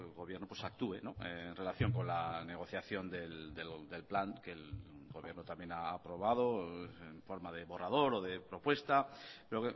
gobierno actúe en relación con la negociación del plan que el gobierno también ha aprobado en forma de borrador o de propuesta pero